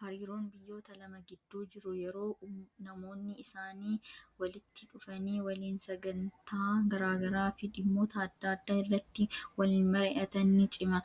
Hariiroon biyyoota lama gidduu jiru yeroo namoonni isaanii walitti dhufanii waliin sagantaa garaagaraa fi dhimmoota adda addaa irratti waliin mari'atan ni cima.